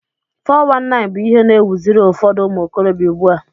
419 bụ ihe na ewuziri ụfọdụ umuokorobia ugbua